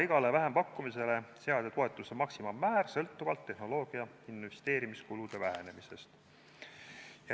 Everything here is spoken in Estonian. Igale vähempakkumisele lubatakse seada toetuse maksimaalmäär sõltuvalt tehnoloogia investeerimiskulude vähenemisest.